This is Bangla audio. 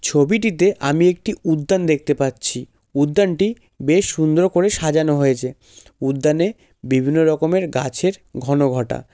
ছবিটিতে আমি একটি উদ্যান দেখতে পাচ্ছি। উদ্যানটি বেশ সুন্দর করে সাজানো হয়েছে। উদ্যানে বিভিন্ন রকমের গাছের ঘনঘটা।